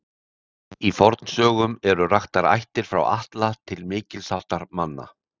Í fornsögum eru raktar ættir frá Atla til mikils háttar manna.